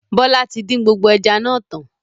Bọlá tí din gbogbo ẹja náà tán